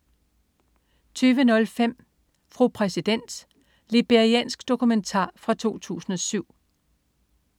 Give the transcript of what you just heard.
20.05 Fru præsident. Liberiansk dokumentar fra 2007